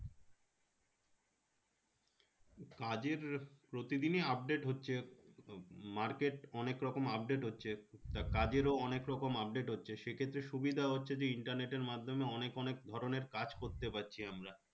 কাজের প্রতিদিনই update হচ্ছে market অনেকরকম update হচ্ছে যা কাজের অনেকরকম update হচ্ছে সেক্ষেত্রে সুবিধা হচ্ছে যে internet এর মাধ্যমে অনেক অনেক ধরণের কাজ করতে পারছি আমরা